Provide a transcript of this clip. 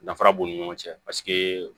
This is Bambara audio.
Danfara b'u ni ɲɔgɔn cɛ paseke